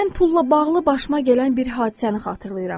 Mən pulla bağlı başıma gələn bir hadisəni xatırlayıram.